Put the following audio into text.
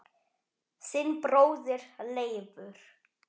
Þinn bróðir Leifur.